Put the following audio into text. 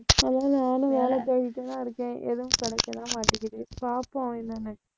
அதனால நானும் வேலை தேடிட்டுத்தான் இருக்கேன். எதுவும் கிடைக்கதான் மாட்டேங்குது பாப்போம் என்னன்னு